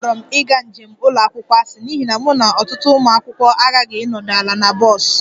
Akpọrọ m ịga njem ụlọ akwụkwọ asị n'ihi na mụ na ọtụtụ ụmụ akwụkwọ aghaghị ịnọdụ ala na bọs